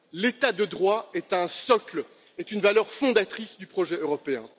L'état de droit est un socle, est une valeur fondatrice du projet européen.